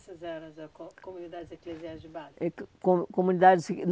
Essas eram as co comunidades eclesiastas de base?